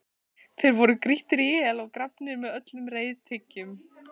Þeir voru grýttir í hel og grafnir með öllum reiðtygjum.